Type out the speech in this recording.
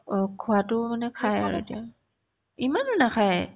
অ, খোৱাতো মানে খাই এতিয়া ইমানো নাখায় ।